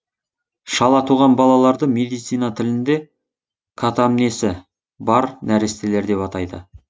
шала туған балаларды медицина тілінде катамнесі бар нәрестелер деп атайды